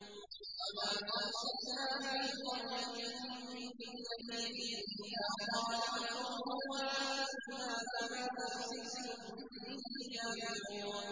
وَمَا أَرْسَلْنَا فِي قَرْيَةٍ مِّن نَّذِيرٍ إِلَّا قَالَ مُتْرَفُوهَا إِنَّا بِمَا أُرْسِلْتُم بِهِ كَافِرُونَ